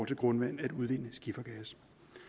til grundvandet at udvinde skifergas